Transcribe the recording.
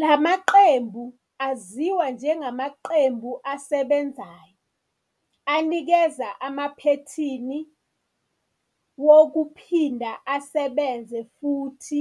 La maqembu, aziwa njengamaqembu asebenzayo, anikeza amaphethini wokuphinda asebenze futhi